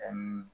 Ani